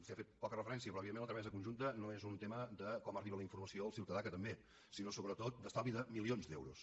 s’hi ha fet poca referència però evidentment la tramesa conjunta no és un tema de com arriba la informació al ciutadà que també sinó sobretot d’estalvi de milions d’euros